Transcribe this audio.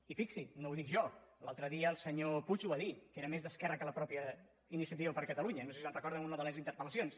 i fixi’s no ho dic jo l’altre dia el senyor puig ho va dir que era més d’esquerra que la mateixa iniciativa per catalunya no sé si se’n recorden en una de les interpel·lacions